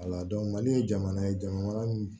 Wala mali ye jamana ye jamana